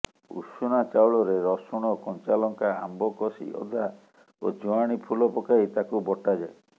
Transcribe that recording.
ଉଷୁନା ଚାଉଳରେ ରସୁଣ କଞ୍ଚାଲଙ୍କା ଆମ୍ବକଷି ଅଦା ଓ ଜୁଆଣି ଫୁଲ ପକାଇ ତାକୁ ବଟା ଯାଏ